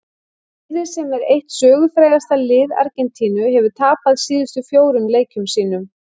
Liðið sem er eitt sögufrægasta lið Argentínu hefur tapað síðustu fjórum leikjum sínum.